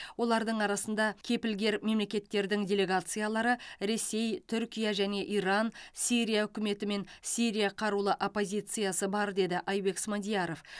олардың арасында кепілгер мемлекеттердің делегациялары ресей түркия және иран сирия үкіметі мен сирия қарулы оппозициясы бар деді айбек смадияров